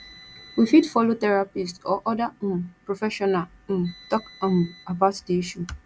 we fit follow therapist or other um professional um talk um about di issue